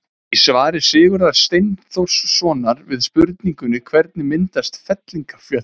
í svari sigurðar steinþórssonar við spurningunni hvernig myndast fellingafjöll